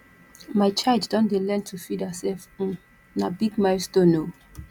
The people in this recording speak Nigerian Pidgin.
my child don dey learn to feed hersef um na big milestone o